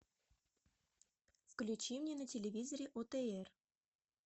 включи мне на телевизоре отр